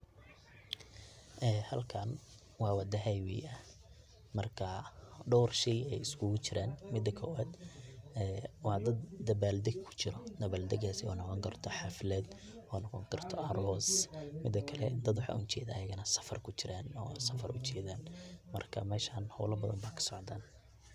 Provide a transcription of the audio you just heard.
Halkan wa wada highway ah marka dor shey ay iskugujiran, midi kowad wa dad dabal deg kujiro, dabaldekas oo noqoni karto xalfad, oo noqoni karto aros, midi kale dad waxan ujeda ayaganah safar kujiran oo safar ujedan marka meshan hola badhan aya kasocda.